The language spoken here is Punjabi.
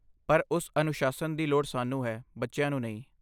ਪਰ ਉਸ ਅਨੁਸ਼ਾਸਨ ਦੀ ਸਾਨੂੰ ਲੋੜ ਹੈ, ਬੱਚਿਆਂ ਨੂੰ ਨਹੀਂ।